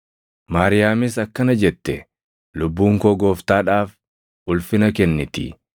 Maariyaamis akkana jette: “Lubbuun koo Gooftaadhaaf ulfina kenniti;